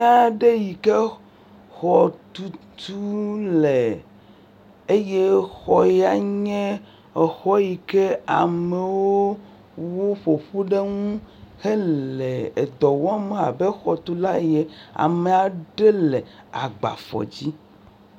Teƒe aɖe yike xɔtutu le eye xɔ ya nye xɔ yike amewo woƒo ƒu ɖe ŋu hele dɔ wɔm abe xɔtulawo ye, ame aɖe le agbafɔdzi.